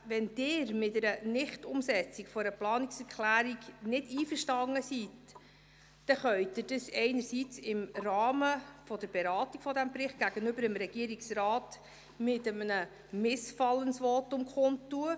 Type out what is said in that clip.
Wenn Sie mit einer Nichtumsetzung einer Planungserklärung nicht einverstanden sind, können Sie dies entweder im Rahmen der Beratung des betreffenden Berichts gegenüber dem Regierungsrat durch ein Missfallensvotum kundtun.